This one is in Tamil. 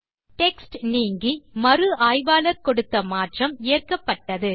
டெக்ஸ்ட் நீங்கி மறு ஆய்வாளர் கொடுத்த மாற்றம் ஏற்கப்பட்டது